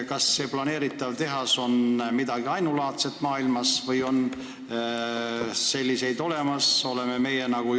Kas see planeeritav tehas on maailmas midagi ainulaadset või on selliseid veel olemas?